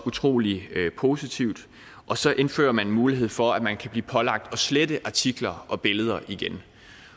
utrolig positivt og så indfører man en mulighed for at man kan blive pålagt at slette artikler og billeder igen